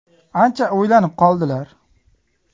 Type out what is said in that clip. Ancha o‘ylanib qoldilar.